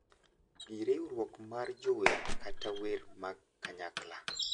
Gi riwruok mar jower kata wer mag kanyakla